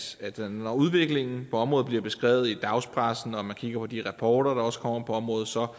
når udviklingen på området bliver beskrevet i dagspressen og man kigger på de rapporter der også kommer på området så